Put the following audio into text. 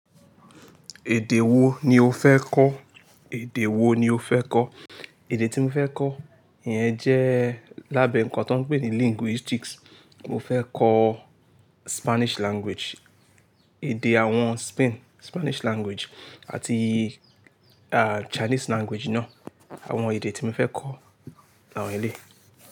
Èdè wo ni o fẹ́ kọ́? Èdè wo ni o fẹ́ kọ́? Èdè tí mo fẹ́ kọ́ yẹn jẹ́ lábẹ́ ǹnkan tó ń pè ní linguistics. Mo fẹ́ kọ́ Spanish language, èdè àwọn Spain, Spanish language àti a, Chinese language náà. Àwọn èdè tí mo fẹ́ kọ́ àwọn ẹlẹ́ẹ̀.